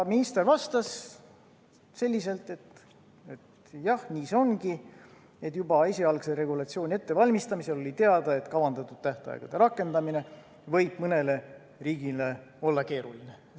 Minister vastas, et jah, nii see ongi, juba esialgse regulatsiooni ettevalmistamisel oli teada, et kavandatud tähtaegade rakendamine võib mõnele riigile olla keeruline.